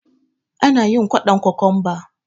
Anayin kwaɗon kokwamba